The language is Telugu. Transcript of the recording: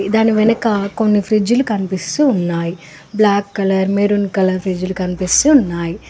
దానివెనక కొన్ని ఫ్రిజ్ లు కనిపిస్తూ ఉన్నాయి black colour maroon colour fridge లు కనిపిస్తూ ఉన్నాయి.